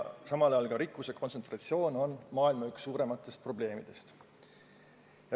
Samal ajal on rikkuse kontsentratsioon üks maailma suurimaid probleeme.